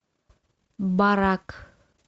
барак